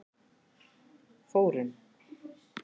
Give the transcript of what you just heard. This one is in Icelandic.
Þórunn